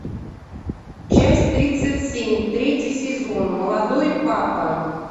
часть тридцать семь третий сезон молодой папа